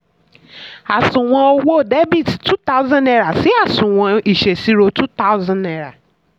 àsùnwon owó debit two thousand naira si àsùnwon ìṣèṣirò two thousand naira